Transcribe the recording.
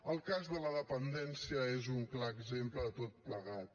el cas de la dependència és un clar exemple de tot plegat